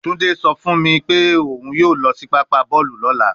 Tunde so fun mi pe oun yoo lo si papa boolu lola